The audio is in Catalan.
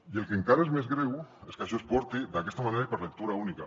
i el que encara és més greu és que això es porti d’aquesta manera i per lectura única